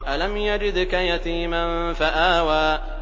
أَلَمْ يَجِدْكَ يَتِيمًا فَآوَىٰ